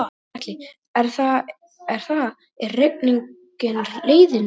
Gunnar Atli: Er það, er rigningin leiðinleg?